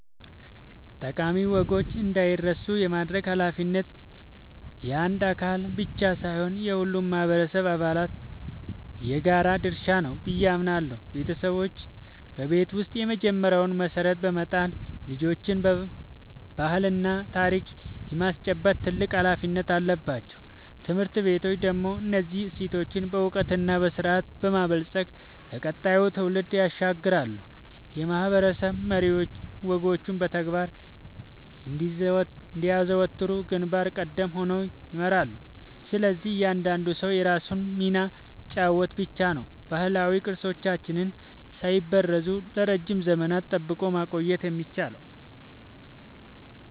ጠቃሚ ወጎች እንዳይረሱ የማድረግ ኃላፊነት የአንድ አካል ብቻ ሳይሆን የሁሉም ማህበረሰብ አባላት የጋራ ድርሻ ነው ብዬ አምናለሁ። ቤተሰቦች በቤት ውስጥ የመጀመሪያውን መሰረት በመጣል ልጆችን ባህልና ታሪክ የማስጨበጥ ትልቅ ኃላፊነት አለባቸው። ትምህርት ቤቶች ደግሞ እነዚህን እሴቶች በዕውቀትና በስርዓት በማበልጸግ ለቀጣዩ ትውልድ ያሸጋግራሉ፤ የማህበረሰብ መሪዎችም ወጎቹ በተግባር እንዲዘወተሩ ግንባር ቀደም ሆነው ይመራሉ። ስለዚህ እያንዳንዱ ሰው የራሱን ሚና ሲጫወት ብቻ ነው ባህላዊ ቅርሶቻችንን ሳይበረዙ ለረጅም ዘመናት ጠብቆ ማቆየት የሚቻለው።